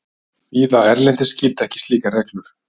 Víða erlendis gilda ekki slíkar reglur.